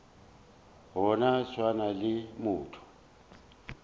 go no swana le motho